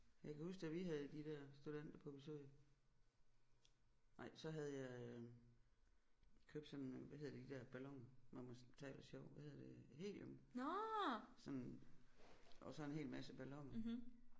Jeg kan huske da vi havde de der studenter på besøg nej så havde jeg øh købt sådan øh hvad hedder de der balloner når man taler sjovt hvad hedder det helium sådan og så en hel masse balloner